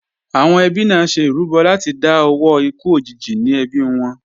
Àwọn ẹbí náà ṣe ìrúbọ láti dá owó ikú òjijì ní ẹbí wọn